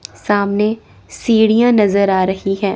सामने सीढ़ियां नज़र आ रही है।